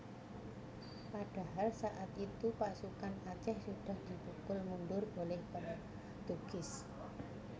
Padahal saat itu pasukan Aceh sudah dipukul mundur oleh Portugis